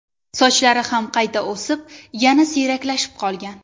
Sochlari ham qayta o‘sib, yana siyraklashib qolgan.